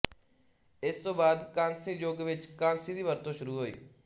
ਇਸ ਤੋਂ ਬਾਅਦ ਕਾਂਸੀ ਯੁੱਗ ਵਿੱਚ ਕਾਂਸੀ ਦੀ ਵਰਤੋਂ ਸ਼ੁਰੂ ਹੋਈ